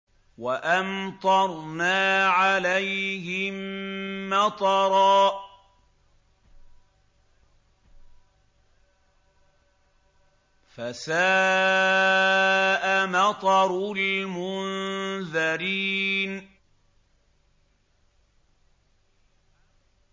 وَأَمْطَرْنَا عَلَيْهِم مَّطَرًا ۖ فَسَاءَ مَطَرُ الْمُنذَرِينَ